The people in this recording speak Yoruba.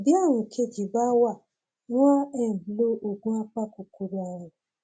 bí ààrùn kejì bá wà wọn á um lo oògùn apakòkòrò ààrùn